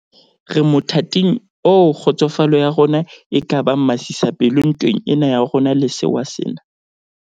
Re mothating oo kgotsofalo ya rona e ka bang masisapelo ntweng ena ya rona le sewa sena.